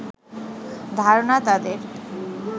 ধারণা তাদের